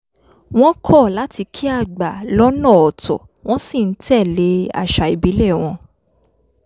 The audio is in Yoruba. wọ́n kọ́ láti kí àgbà lọ́nà ọ̀tọ̀ wọ́n sì ń tẹ̀ lé àṣà ìbílẹ̀ wọn